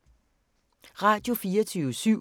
Radio24syv